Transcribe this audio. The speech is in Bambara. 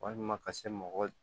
Walima ka se mɔgɔ